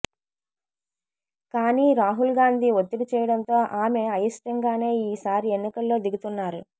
కానీ రాహుల్ గాంధీ ఒత్తిడి చేయడంతో ఆమె అయిష్టంగానే ఈ సారి ఎన్నికల్లో దిగుతున్నారు